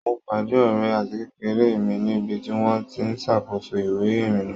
Mo pádé ọ̀rẹ́ àtikékeré mi níbi tí wọ́n ti ń ṣàkóso ìwé ìrìnà